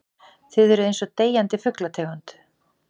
Þið eruð einsog deyjandi fuglategund.